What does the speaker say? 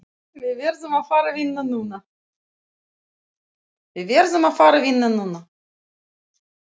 Við verðum að fara vinna núna.